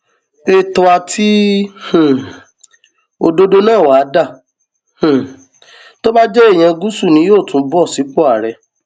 ètò àti um òdodo náà wàá dà um tó bá jẹ èèyàn gúúsù ni yóò tún bọ sípò àárẹ